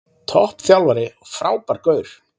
Topp þjálfari og frábær gaur.